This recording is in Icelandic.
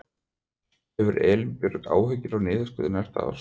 Hefur Elín Björg áhyggjur af niðurskurði næsta árs?